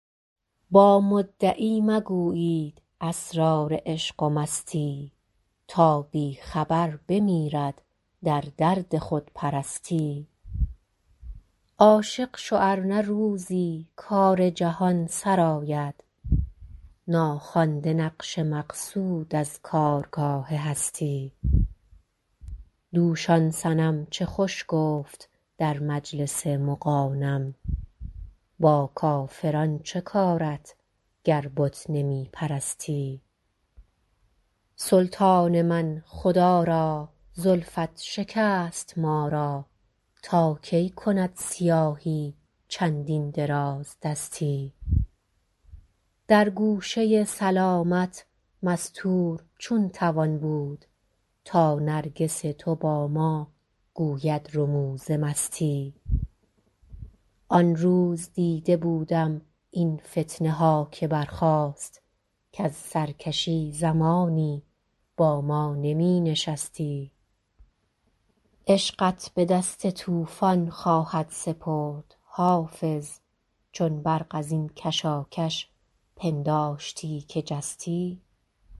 با مدعی مگویید اسرار عشق و مستی تا بی خبر بمیرد در درد خودپرستی عاشق شو ار نه روزی کار جهان سرآید ناخوانده نقش مقصود از کارگاه هستی دوش آن صنم چه خوش گفت در مجلس مغانم با کافران چه کارت گر بت نمی پرستی سلطان من خدا را زلفت شکست ما را تا کی کند سیاهی چندین درازدستی در گوشه سلامت مستور چون توان بود تا نرگس تو با ما گوید رموز مستی آن روز دیده بودم این فتنه ها که برخاست کز سرکشی زمانی با ما نمی نشستی عشقت به دست طوفان خواهد سپرد حافظ چون برق از این کشاکش پنداشتی که جستی